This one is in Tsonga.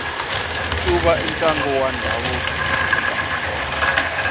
ncuva i ntlangu wa ndhavuko eka matsonga